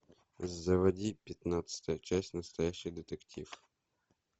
заводи пятнадцатая часть настоящий детектив